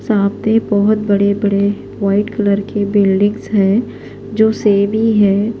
.سامنے بہت بدی بدی وائٹ کلر کے بیلڈنگس ہیں جو سیم ہی ہیں